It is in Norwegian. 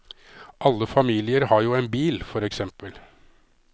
Alle familier har jo en bil, for eksempel.